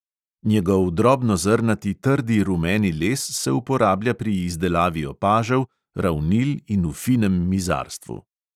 Njegov drobnozrnati trdi rumeni les se uporablja pri izdelavi opažev, ravnil in v finem mizarstvu.